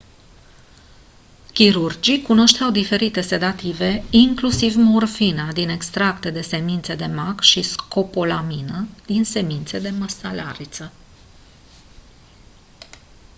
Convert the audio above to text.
chirurgii cunoșteau diferite sedative inclusiv morfina din extracte de semințe da mac și scopolamina din semințe de măselariță